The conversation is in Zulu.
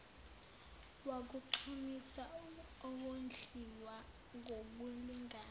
wakugqamisa ukondliwa ngokulingana